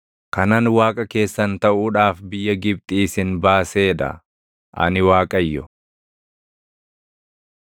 kanan Waaqa keessan taʼuudhaaf biyya Gibxii isin baasee dha. Ani Waaqayyo.”